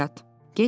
Get yat!